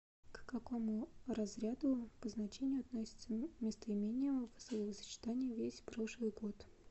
к какому разряду по значению относится местоимение в словосочетании весь прошлый год